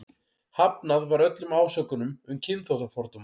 Hafnað var öllum ásökunum um kynþáttafordóma.